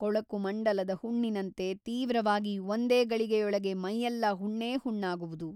ಕೊಳಕು ಮಂಡಲದ ಹುಣ್ಣಿನಂತೆ ತೀವ್ರವಾಗಿ ಒಂದೇ ಗಳಿಗೆಯೊಳಗೆ ಮೈಯೆಲ್ಲಾ ಹುಣ್ಣೇ ಹುಣ್ಣಾಗುವುದು.